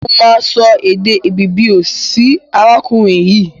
Mo máa so èdè Ìbìbìò sí arákùrin yìí.